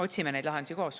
Otsime neid lahendusi koos.